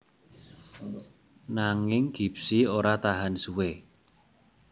Nanging Gipsy ora tahan suwé